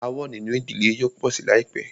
Aàwọ̀ nínú ìdílé yóò pọ̀ sí láìpẹ́.